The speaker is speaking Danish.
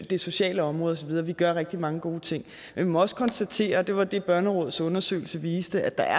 det sociale område og så videre vi gør rigtig mange gode ting men vi må også konstatere og det var det børnerådets undersøgelse viste at der